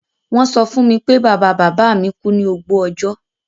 Won so fún mi pé bàbá-bàbámi ku ni ògbó ọjọ́